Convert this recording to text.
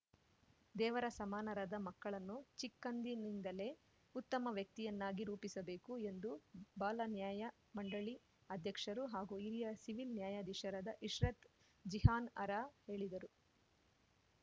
ದೇವರ ಸಮಾನರಾದ ಮಕ್ಕಳನ್ನು ಚಿಕ್ಕಂದಿನಿಂದಲೇ ಉತ್ತಮ ವ್ಯಕ್ತಿಯನ್ನಾಗಿ ರೂಪಿಸಬೇಕು ಎಂದು ಬಾಲನ್ಯಾಯ ಮಂಡಳಿ ಅಧ್ಯಕ್ಷರು ಹಾಗೂ ಹಿರಿಯ ಸಿವಿಲ್‌ ನ್ಯಾಯಾಧೀಶರಾದ ಇಶ್ರತ್‌ ಜಿಹಾನ್‌ಅರಾ ಹೇಳಿದರು